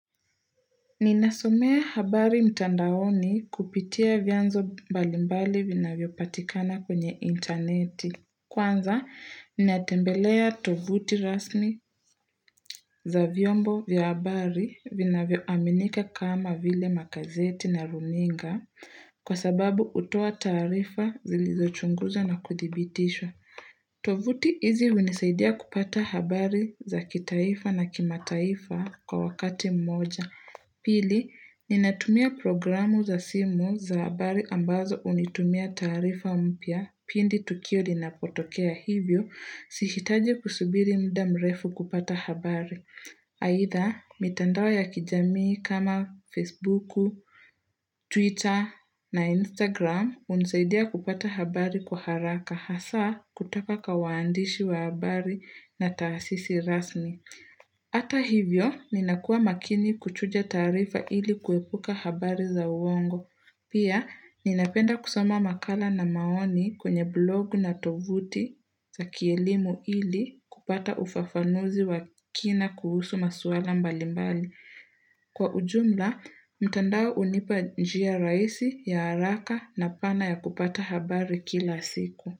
Nina somea habari mtandaoni kupitia vyanzo mbalimbali vinavyopatikana kwenye interneti. Kwanza, natembelea tovuti rasmi za vyombo vyabari vinavyominika kama vile makazeti na runinga kwa sababu utoa tarifa zilizo chunguza na kudibitishwa. Tovuti hizi imenisaidia kupata habari za kitaifa na kimataifa kwa wakati mmoja. Pili, ninatumia programu za simu za habari ambazo hunitumia tarifa mpya pindi tukio linapotokea hivyo. Sihitaji kusubiri muda mrefu kupata habari. Aidha, mitandao ya kijamii kama Facebooku, Twitter na Instagram unisaidia kupata habari kwa haraka hasa kutaka kawaandishi wa habari na taasisi rasmi. Hata hivyo, ninakua makini kuchuja tarifa ili kuepuka habari za uongo. Pia, ninapenda kusoma makala na maoni kwenye blog na tovuti za kielimu ili kupata ufafanuzi wa kina kuhusu maswala mbalimbali. Kwa ujumla, mtandao unipa njia raisi ya haraka na pana ya kupata habari kila siku.